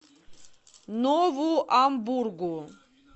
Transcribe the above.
нову амбургу